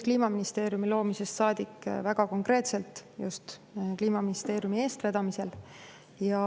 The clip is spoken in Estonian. Kliimaministeeriumi loomisest saadik toimuvad need väga konkreetselt just Kliimaministeeriumi eestvedamisel.